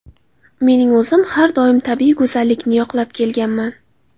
Mening o‘zim har doim tabiiy go‘zallikni yoqlab kelganman.